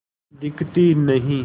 दिखती नहीं